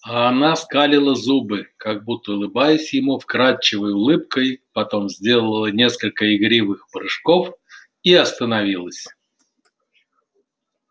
а она скалила зубы как будто улыбаясь ему вкрадчивой улыбкой потом сделала несколько игривых прыжков и остановилась